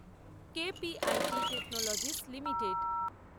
KPIT technologies limited